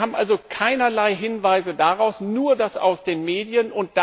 Wir haben also keinerlei Hinweise darauf, nur das aus den Medien.